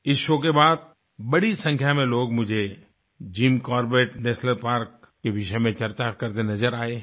इस शो के बाद बड़ी संख्या में लोग मुझे जिम कॉर्बेट नेशनल पार्क के विषय में चर्चा करते नजर आए हैं